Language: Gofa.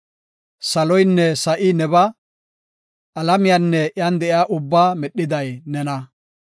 Saloynne sa7i nebaa; alamiyanne iyan de7iya ubbaa medhiday nena.